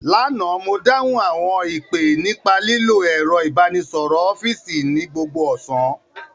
Lánàá, mo dáhùn àwọn ìpè nípa lílo ẹ̀rọ ìbánisọ̀rọ̀ ọ́fíìsì ní gbogbo ọ̀sán